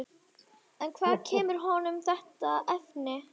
En hvaðan kemur honum þetta efni?